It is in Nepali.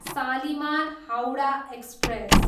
सालिमार, हाउडा, एक्सप्रेस